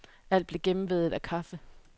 Alt blev gennemvædet af kaffe.